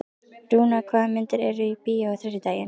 Rúnar, hvaða myndir eru í bíó á þriðjudaginn?